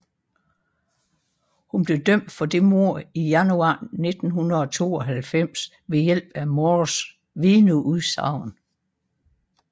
Hun blev dømt for det mord i januar 1992 ved hjælp at Moores vidneudsagn